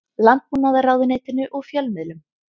Landbúnaðarráðuneytinu og fjölmiðlum.